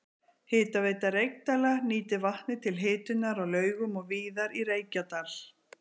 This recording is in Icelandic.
Hitaveita Reykdæla nýtir vatnið til hitunar á Laugum og víðar í Reykjadal.